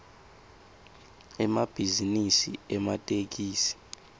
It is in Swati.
emabhizinisi ematekisi